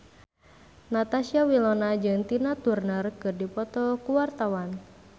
Natasha Wilona jeung Tina Turner keur dipoto ku wartawan